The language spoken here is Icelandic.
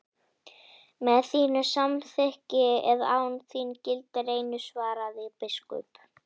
Með þínu samþykki eða án, gildir einu, svaraði biskup.